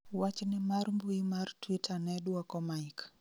wachne mar mbui mar twita ne dwoko Mike